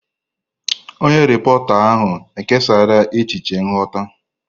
Onye repọrta ahụ kesara echiche nghọta.